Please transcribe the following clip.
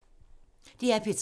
DR P3